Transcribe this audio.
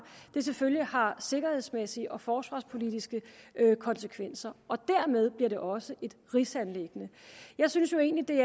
selvfølgelig har sikkerhedsmæssige og forsvarspolitiske konsekvenser og dermed bliver det også et rigsanliggende jeg synes egentlig